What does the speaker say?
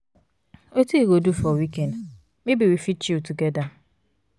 wetin you go do for weekend? maybe we fit chill together.